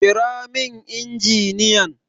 Kira min injiniyan!